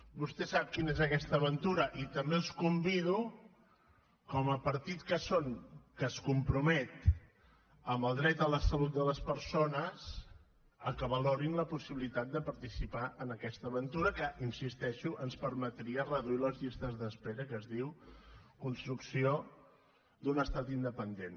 vostè sap quina és aquesta aventura i també els convido com a partit que són que es compromet en el dret a la salut de les persones que valorin la possibilitat de participar en aquesta aventura que hi insisteixo ens permetria reduir les llistes d’espera que es diu construcció d’un estat independent